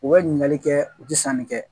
U bɛ ɲininkali kɛ u tɛ sanni kɛ